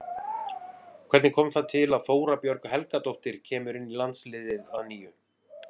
Hvernig kom það til að Þóra Björg Helgadóttir kemur inn í landsliðið að nýju?